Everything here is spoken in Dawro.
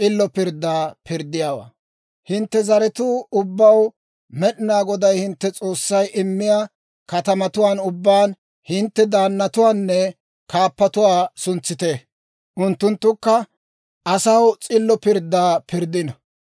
«Hintte zaratuu ubbaw Med'inaa Goday hintte S'oossay immiyaa katamatuwaan ubbaan hintte daannatuwaanne kaappatuwaa suntsite; unttunttukka asaw s'illo pirddaa pirddino.